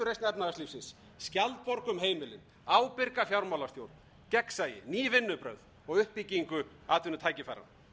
efnahagslífsins skjaldborg um heimilin ábyrga fjármálastjórn gegnsæi ný vinnubrögð og uppbyggingu atvinnutækifæra